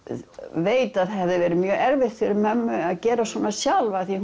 veit að það hefði verið mjög erfitt fyrir mömmu að gera svona sjálf því